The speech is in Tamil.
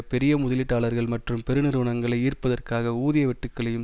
பெரிய முதலீட்டாளர்கள் மற்றும் பெருநிறுவனங்களை ஈர்ப்பதற்காக ஊதிய வெட்டுக்களையும்